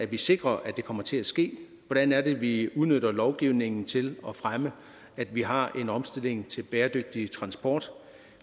vi sikrer at det kommer til at ske hvordan er det vi udnytter lovgivningen til at fremme at vi har en omstilling til bæredygtig transport